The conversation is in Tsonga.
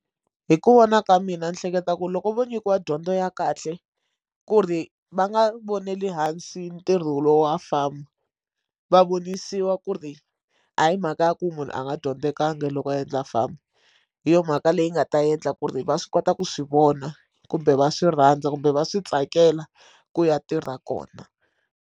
Hi ku vona ka mina ni hleketa ku loko vo nyikiwa dyondzo ya kahle ku ri va nga vonela hansi ntirho wolowo wa famba va vonisiwa ku ri hayi mhaka ya ku munhu a nga dyondzekanga loko a endla famba hi yo mhaka leyi nga ta endla ku ri va swi kota ku swi vona kumbe va swi rhandza kumbe va swi tsakela ku ya tirha kona.